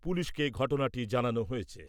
পুলিশকে ঘটনাটি জানানো হয়েছে।